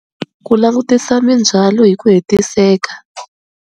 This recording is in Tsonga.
Ku langutisa mindzwalo hi ku hetiseka.